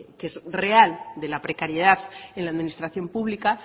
que es real de la precariedad en la administración pública